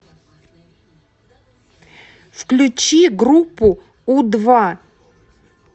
включи группу у два